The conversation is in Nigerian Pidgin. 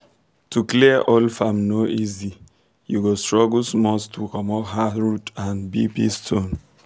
to clear old farm no easy you go struggle small to comot hard root and big big stone